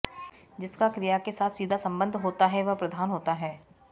जिसका क्रिया के साथ सीधा सम्बन्ध होता है वह प्रधान होता है